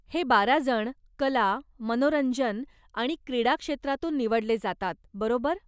हे बारा जण कला, मनोरंजन आणि क्रीडाक्षेत्रातून निवडले जातात, बरोबर?